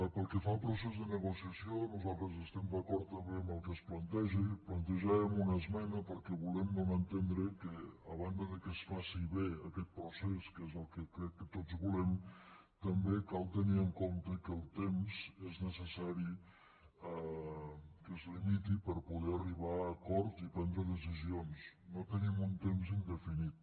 pel que fa al procés de negociació nosaltres estem d’acord també en el que es planteja i plantejàvem una esmena perquè volem donar a entendre que a banda que es faci bé aquest procés que és el que crec que tots volem també cal tenir en compte que el temps és necessari que es limiti per poder arribar a acords i prendre decisions no tenim un temps indefinit